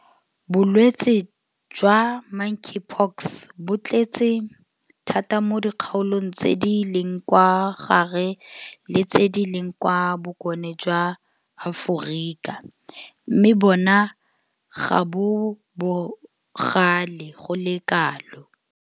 Bolwetse jwa Monkeypox bo tletse thata mo dikgaolong tse di leng kwa gare le tse di leng kwa bokone jwa Aforika mme bona ga bo bogale go le kalo.